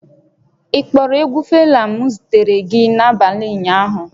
Ị kpọrọ egwu Fela m zitere gị n'abalị ụnyaahụ?